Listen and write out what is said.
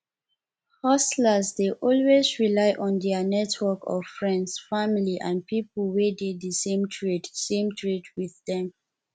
hustlers dey always rely on their network of friends family and people wey dey di same trade same trade with them